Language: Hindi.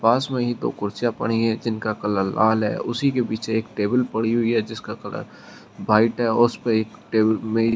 पास में ही दो कुर्सियां पड़ी है जिनका कलर लाल है उसी के पीछे एक टेबल पड़ी हुई है जिसका कलर व्हाइट है और उसपे एक टेब मे--